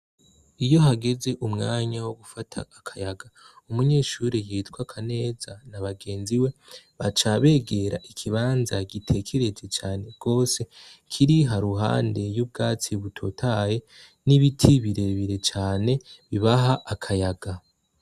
Iyo hageze umwanya wo gufata akayaga, umunyeshure yitwa Kaneza na bagenzi we baca bigira i kibanza gitekereje rwose kiri haruhande y'ubwatsi butotahaye n'ibiti birebire cane bibaha akayaga.